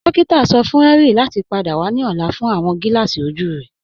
Dòkìtà sọ fún Henry láti pádà wà ní ọ̀là fún awọn gílààsí ojú rẹ.